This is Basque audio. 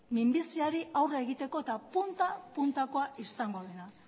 minbiziari aurre egiteko eta punta puntako izango dena